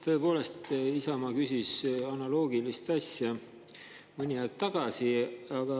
Tõepoolest, Isamaa küsis analoogilist asja mõni aeg tagasi.